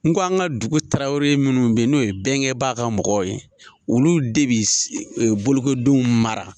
N ko an ka dugu Tarawele munnu bɛ yen n'o ye Bɛnkɛba ka mɔgɔw ye, olu de bɛ bolokodenw mara.